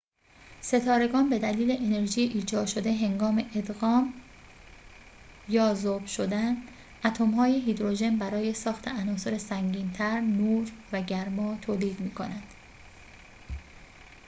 ستارگان به دلیل انرژی ایجاد شده هنگام ادغام یا ذوب شدن اتم های هیدروژن برای ساخت عناصر سنگین تر، نور و گرما تولید می‌کنند